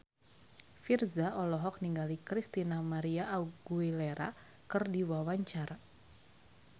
Virzha olohok ningali Christina María Aguilera keur diwawancara